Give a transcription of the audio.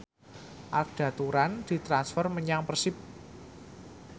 Arda Turan ditransfer menyang Persib